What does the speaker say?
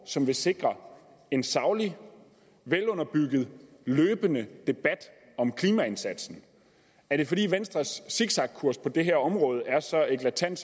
som vil sikre en saglig velunderbygget og løbende debat om klimaindsatsen er det fordi venstres zigzagkurs på det her område er så eklatant